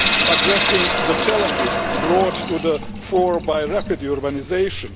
addressing the challenges brought to the fore by rapid urbanisation